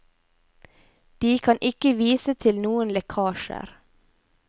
De kan ikke vise til noen lekkasjer.